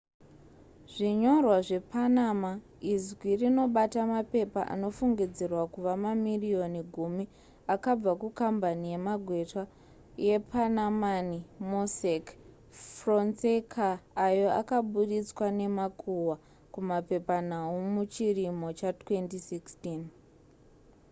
"zvinyorwa zvepanama izwi rinobata mapepa anofungidzirwa kuva mamirioni gumi akabva kukambani yemagweta yepanamani mossack fonseca, ayo akaburitswa nemakuhwa kumapepanhau muchirimo cha2016